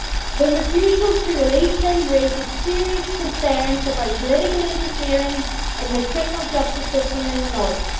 The refusal to release him raises serious concerns about political interference in the criminal justice system in the North.